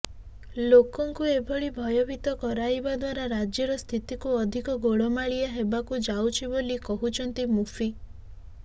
ଲୋକଙ୍କୁ ଏଭଳି ଭୟଭୀତ କରାଇବା ଦ୍ବାରା ରାଜ୍ୟର ସ୍ଥିତିକୁ ଅଧିକ ଗୋଳମାଳିଆ ହେବାକୁ ଯାଉଛି ବୋଲି କହିଛନ୍ତି ମୁଫ୍ତି